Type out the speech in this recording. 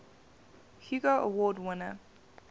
hugo award winner